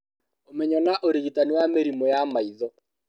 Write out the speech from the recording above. Ũmenyo na ũrigitani wa mĩrimũ ya maitho